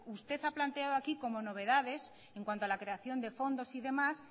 usted ha planteado aquí como novedades en cuanto a la creación de fondos y demás